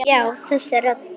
Já, þessi rödd.